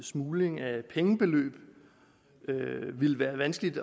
smugling af penge ville være vanskeligt